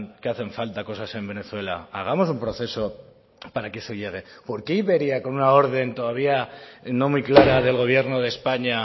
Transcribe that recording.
que hacen falta cosas en venezuela hagamos un proceso para que eso llegue por qué iberia con una orden todavía no muy clara del gobierno de españa